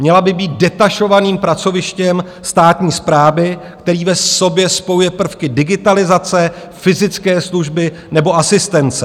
Měla by být detašovaným pracovištěm státní správy, které v sobě spojuje prvky digitalizace, fyzické služby nebo asistence.